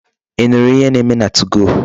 Ị nụrụ ihe na-eme na 2go?